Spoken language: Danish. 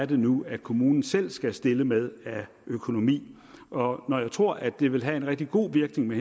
det nu er kommunen selv skal stille med af økonomi når jeg tror at det vil have en rigtig god virkning med